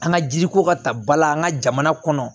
An ka jiriko ka ta bala an ka jamana kɔnɔ